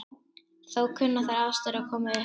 Þó kunna þær aðstæður að koma upp.